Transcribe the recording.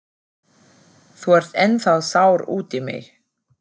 Þú ert ennþá sár út í mig.